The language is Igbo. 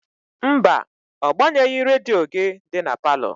Mba, ọ gbanyeghị redio gị dị na palọ.